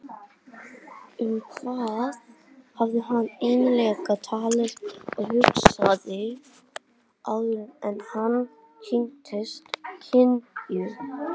Um hvað hafði hann eiginlega talað og hugsað áður en hann kynntist Linju?